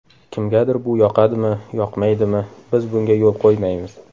Kimgadir bu yoqadimi, yoqmaydimi, biz bunga yo‘l qo‘ymaymiz.